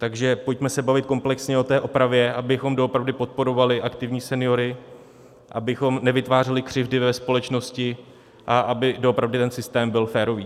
Takže pojďme se bavit komplexně o té opravě, abychom doopravdy podporovali aktivní seniory, abychom nevytvářeli křivdy ve společnosti a aby doopravdy ten systém byl férový.